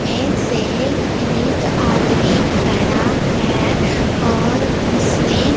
में से एक आदमी खड़ा है और उसने--